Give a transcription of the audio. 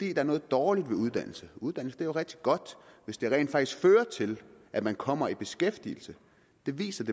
er noget dårligt ved uddannelse uddannelse er rigtig godt hvis det rent faktisk fører til at man kommer i beskæftigelse det viser